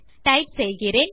type செய்கிறேன்